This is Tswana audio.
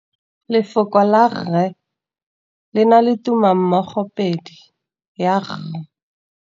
Lefoko la rre le na le tumammogôpedi ya, r.